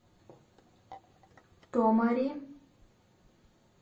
томари